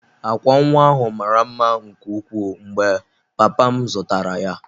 Akwa nwa ahụ mara mma nke ukwuu mgbe papa m zụtara ya.